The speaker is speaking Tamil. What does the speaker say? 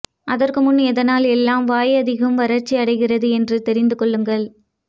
அதற்கு முன் எதனால் எல்லாம் வாய் அதிகம் வறட்சியடைகிறது என்று தெரிந்து கொள்ளுங்கள்